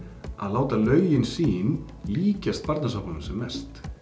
að láta lögin sín líkjast Barnasáttmálanum sem mest